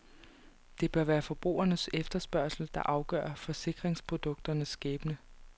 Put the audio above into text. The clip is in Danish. Det bør være forbrugernes efterspørgsel der afgør forsikringsprodukternes skæbne.